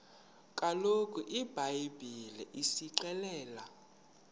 kaloku ibhayibhile isixelela